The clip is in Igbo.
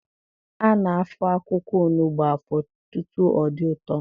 A na-afọ akwụkwọ onugbu afọ tutu ọ dị ụtọ.